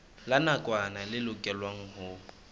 la nakwana le lokelwang ho